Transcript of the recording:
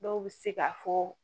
Dɔw bɛ se ka fɔ